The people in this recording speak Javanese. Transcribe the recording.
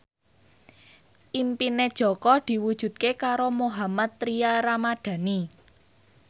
impine Jaka diwujudke karo Mohammad Tria Ramadhani